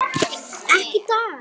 Ekki í dag.